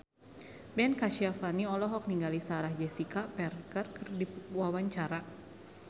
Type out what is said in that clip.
Ben Kasyafani olohok ningali Sarah Jessica Parker keur diwawancara